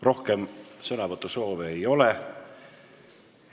Rohkem sõnavõtusoove ei ole.